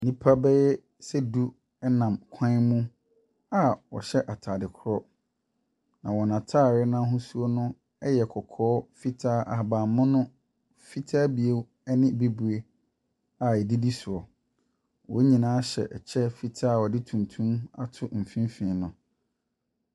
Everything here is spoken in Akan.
Nipa beyɛ sɛ du ɛnam kwan mu a ɔhyɛ ataade korɔ. Na wɔn ataade no ahosuo no ɛyɛ kɔkɔɔ, fitaa, ahaban mono, fitaa bio ɛne bebree a edidisoɔ. Wɔn nyinaa hyɛ ɛkyɛ fitaa a wɔdi tuntum ato mfimfin no.